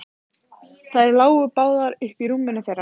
Þær lágu báðar uppí rúminu þeirra.